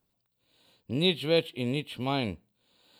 Nič več in nič manj.